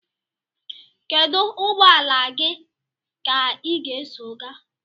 Kedu ụgbọ ala gị ka ị ga-eso gaa?